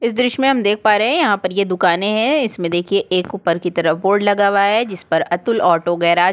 इस दृश्य में हम देख पा रहै है यहाँ पर ये दुकानें है एक ऊपर की तरफ बोर्ड लगा हुआ है जिस पर अतुल ऑटो गैराज --